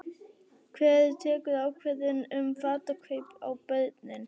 Hver tekur ákvörðun um fatakaup á börnin?